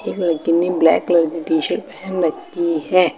लड़के ने black colour की टी शर्ट पहन रखी है।